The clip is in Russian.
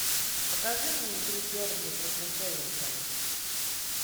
покажи мне игру бернли против эвертона